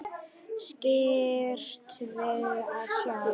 Skirrst við að sjá.